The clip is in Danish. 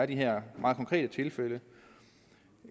de her meget konkrete tilfælde